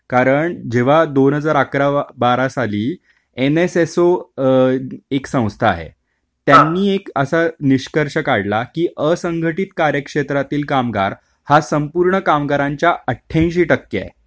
कारण जेव्हा दोन हजार अकरा बारा साली एनएसएसओ एक संस्था आहे त्यांनी असा निष्कर्ष काढला की असंघटित कार्यक्षेत्रातील कामगार हा संपूर्ण कामगारांच्या अट्ठ्यांशी टक्के आहे.